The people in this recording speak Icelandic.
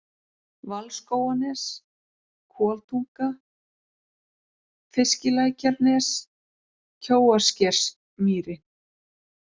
Valskóganes, Koltunga, Fiskilækjarnes, Kjóaskersmýri